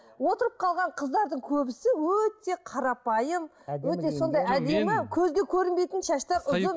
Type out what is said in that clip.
отырып қалған қыздардың көбісі өте қарапайым көзге көрінбейтін шашты